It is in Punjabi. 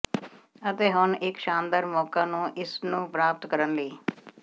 ਅਤੇ ਹੁਣ ਇੱਕ ਸ਼ਾਨਦਾਰ ਮੌਕਾ ਨੂੰ ਇਸ ਨੂੰ ਪ੍ਰਾਪਤ ਕਰਨ ਲਈ